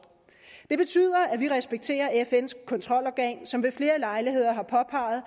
det betyder at vi respekterer fns kontrolorgan som ved flere lejligheder har påpeget